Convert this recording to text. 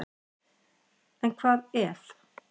En hvað ef?